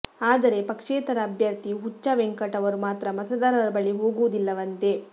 ಆದರೆ ಪಕ್ಷೇತರ ಅಭ್ಯರ್ಥಿ ಹುಚ್ಚಾ ವೆಂಕಟ್ ಅವರು ಮಾತ್ರ ಮತದಾರರ ಬಳಿ ಹೋಗುವುದಿಲ್ಲವಂತೆ